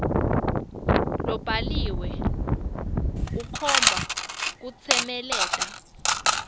lobhaliwe ukhomba kutsemeleta